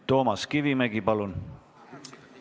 Toomas Kivimägi, palun!